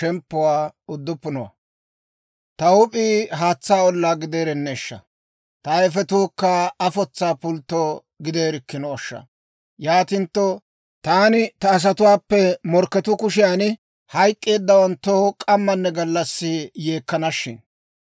Ta huup'ii haatsaa ollaa gideerenneeshsha! Ta ayifetuukka afotsa pultto gideerikkinooshsha! Yaatintto taani ta asatuwaappe morkketuu kushiyan hayk'k'eeddawanttoo k'ammanne gallassi yeekkana shin!